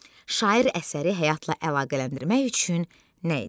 Şair əsəri həyatla əlaqələndirmək üçün nə edib?